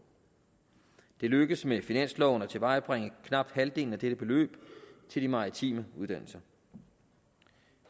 det lykkedes med finansloven at tilvejebringe knap halvdelen af dette beløb til de maritime uddannelser